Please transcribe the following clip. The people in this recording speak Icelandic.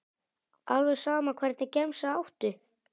alveg sama Hvernig gemsa áttu?